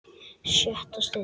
SJÖTTA STUND